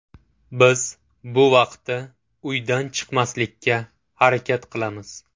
Biz bu vaqtda uydan chiqmaslikka harakat qilamiz.